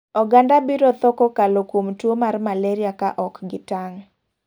Oganda biro tho kokalo kuom tuo mar malaria ka ok gi tang'.